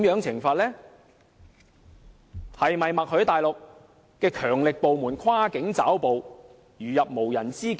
是否默許大陸的強力部門可以跨境抓捕，如入無人之境呢？